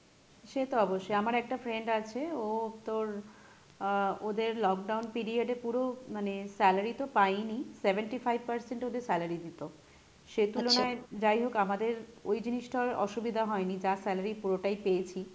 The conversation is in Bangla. সে তো অবশ্যই আমার একটা friend আছে ও তোর আহ ওদের lockdown period এ পুরো মানে salary তো পাইই নি seventy five percent ওদের salary দিতো, সে তুলনায় যাই হোক আমাদের ওই জিনিসটার অসুবিধা হয়নি, যা salary পুরোটাই পেয়েছি,